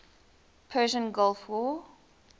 persian gulf war